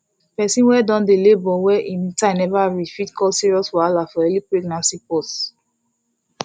persin wey don dey labor wey him time never reach fit cause serious wahala for early pregnancy pause